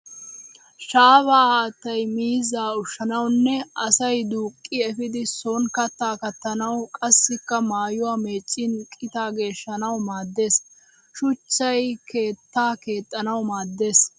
shaafaa haattay miizzaa ushshanawunne asay duuqqi efiidi son katta kattanawu qassikka mayuwa meeccin qitaa geeshshanawu maaddes. shuchchay keettaa keexxanawu maaddes.